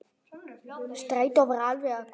Strætó var alveg að koma.